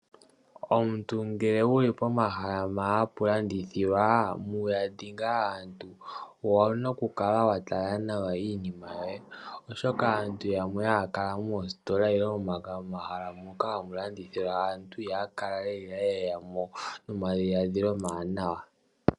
Omuntu ngele owu li momahala gomalandithilo owu na oku kala wa kotoka noku tonatela iinima yoye, molwaashoka aantu haa yehe ha ye ya nomalalakano goku landa iinima yawo. Yamwe oha ye ya nelalakano lyoku yuga aantu iinima yawo.